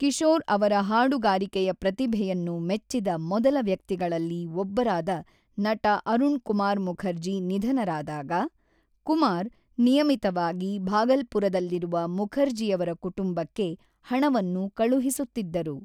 ಕಿಶೋರ್ ಅವರ ಹಾಡುಗಾರಿಕೆಯ ಪ್ರತಿಭೆಯನ್ನು ಮೆಚ್ಚಿದ ಮೊದಲ ವ್ಯಕ್ತಿಗಳಲ್ಲಿ ಒಬ್ಬರಾದ ನಟ ಅರುಣ್ ಕುಮಾರ್ ಮುಖರ್ಜಿ ನಿಧನರಾದಾಗ, ಕುಮಾರ್, ನಿಯಮಿತವಾಗಿ ಭಾಗಲ್ಪುರದಲ್ಲಿರುವ ಮುಖರ್ಜಿಯವರ ಕುಟುಂಬಕ್ಕೆ ಹಣವನ್ನು ಕಳುಹಿಸುತ್ತಿದ್ದರು.